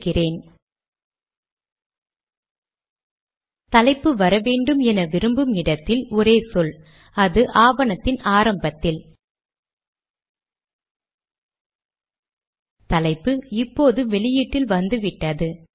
signature கட்டளை argument கடிதத்தின் அடியில் தென் படுகிறது